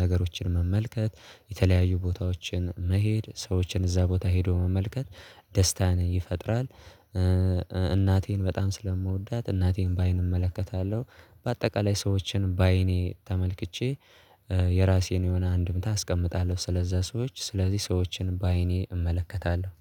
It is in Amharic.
ነገሮችን መመልከት የተለያዩ ቦታዎችን መሄድ ሰዎችን እዛ ቦታ ሄዶ መመልከት ደስታን ይፈጥራል። እናቴን በጣም ስለምወዳት እናቴን በአይን እመለከታለሁ። በአጠቃላይ ሰዎችን በአይኔ ተመልክቼ የራሴን የሆነ አንድምታ አስቀምጣለሁ። ስለዛ ሰዎች ስለዚህ ሰዎችን በአይኔ እመለከታለሁ።